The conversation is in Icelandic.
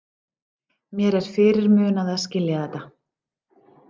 Mér er fyrirmunað að skilja þetta.